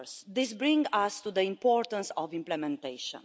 This brings us to the importance of implementation.